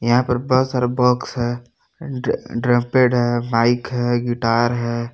यहाँ पे बहुत सारा बॉक्स है ड्र ड्रमपेट है माइक है गिटार है।